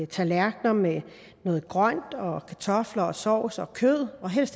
tallerkener med noget grønt kartofler sovs og kød